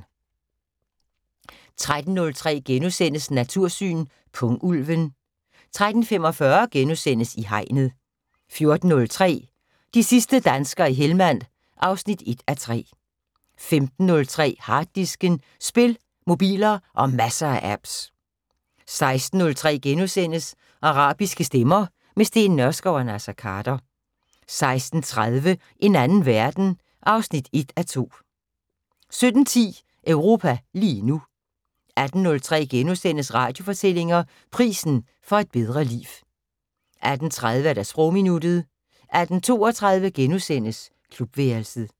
13:03: Natursyn: Pungulven * 13:45: I Hegnet * 14:03: De sidste danskere i Hellmand 1:3 15:03: Harddisken: Spil, mobiler og masser af apps 16:03: Arabiske stemmer – med Steen Nørskov og Naser Khader * 16:30: En anden verden 1:2 17:10: Europa lige nu 18:03: Radiofortællinger: Prisen for et bedre liv * 18:30: Sprogminuttet 18:32: Klubværelset *